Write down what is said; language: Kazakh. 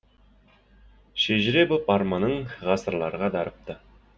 шежіре боп арманың ғасырларға дарыпты